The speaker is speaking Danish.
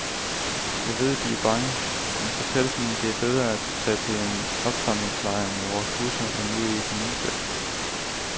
Jeg ved, de er bange, men fortæl dem, at det er bedre at tage til en opsamlingslejr med vores busser end ud i et minefelt.